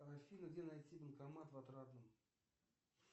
афина где найти банкомат в отрадном